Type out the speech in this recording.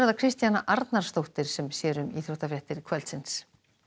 Kristjana Arnarsdóttir sér um íþróttafréttir kvöldsins